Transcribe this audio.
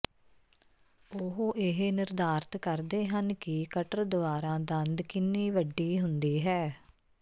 ਉਹ ਇਹ ਨਿਰਧਾਰਤ ਕਰਦੇ ਹਨ ਕਿ ਕਟਰ ਦੁਆਰਾ ਦੰਦ ਕਿੰਨੀ ਵੱਡੀ ਹੁੰਦੀ ਹੈ